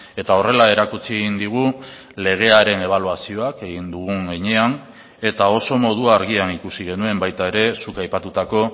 eta horrela erakutsi egin digu legearen ebaluazioak egin dugun heinean eta oso modu argian ikusi genuen baita ere zuk aipatutako